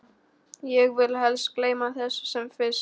Ég vil helst gleyma þessu sem fyrst.